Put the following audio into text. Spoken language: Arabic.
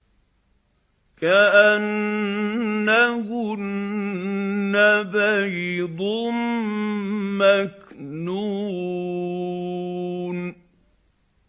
كَأَنَّهُنَّ بَيْضٌ مَّكْنُونٌ